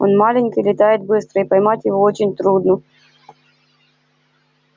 он маленький летает быстро и поймать его очень трудно